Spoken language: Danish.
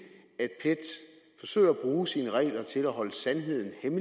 bruge sine regler til at holde sandheden